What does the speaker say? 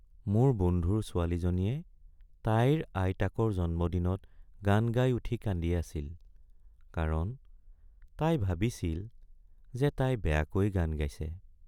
মোৰ বন্ধুৰ ছোৱালীজনীয়ে তাইৰ আইতাকৰ জন্মদিনত গান গাই উঠি কান্দি আছিল কাৰণ তাই ভাবিছিল যে তাই বেয়াকৈ গান গাইছে।